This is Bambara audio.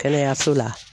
Kɛnɛyaso la